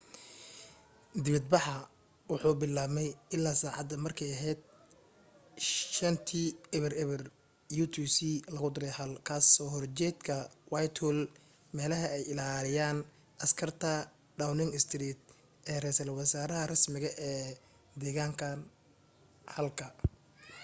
dibad baxa wuxuu bilaabmay ilaa sacaada marka ay aheyd 11:00 utc+1 ka soo horjeedka whitehall meelaha ay ilaaliyaan askarta downing street ee reesal wasaraha rasmiga ee degan halka